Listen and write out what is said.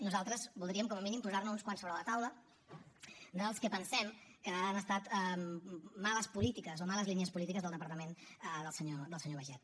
nosaltres voldríem com a mínim posar ne uns quants sobre la taula del que pensem que han estat males polítiques o males línies polítiques del departament del senyor baiget